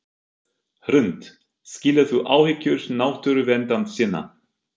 Hrund: Skilur þú áhyggjur náttúruverndarsinna?